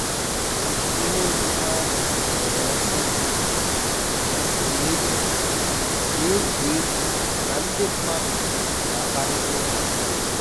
ihe omume ahụ nwere ọsọ dị jụụ na-egwu na-egwu egwu na ndị mmadụ na-akparịta ụka n'efu